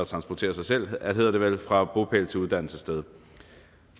transporterer sig selv fra bopæl til uddannelsessted